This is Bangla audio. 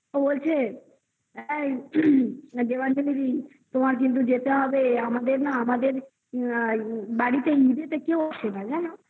ও বলছে দেবাঞ্জনি দি তোমার কিন্তু যেতে হবে আমাদের না আমাদের বাড়িতে ঈদেতে কেউ আসে না জানো